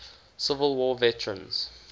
civil war veterans